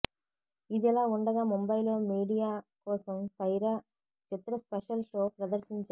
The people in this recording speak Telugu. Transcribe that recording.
ఇదిలా ఉండగా ముంబైలో మీడియా కోసం సైరా చిత్ర స్పెషల్ షో ప్రదర్శించారు